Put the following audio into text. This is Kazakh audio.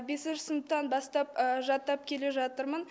бесінші сыныптан бастап жаттап келе жатырмын